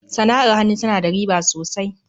sana'ar hannu ta na da riba sosai.